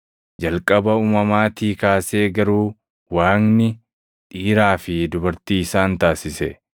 Jalqaba uumamaatii kaasee garuu Waaqni, ‘Dhiiraa fi dubartii isaan taasise.’ + 10:6 \+xt Uma 1:27\+xt*